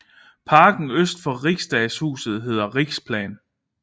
Parken øst for Riksdagshuset hedder Riksplan